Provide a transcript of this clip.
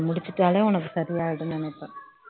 முடிச்சிட்டாலே உனக்கு சரி ஆயிடும்ன்னு நினைப்பேன்